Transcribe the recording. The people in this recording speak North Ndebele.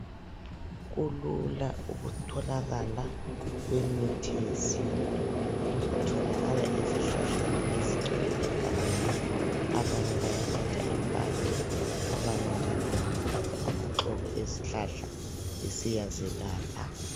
Kulula ukutholakala kwemithi yesintu, itholakala ezihlahleni ezigcwele egangeni abanye bayathatha impande abanye njalo ngabathatha amaxolo ezihlahla besiya zelapha.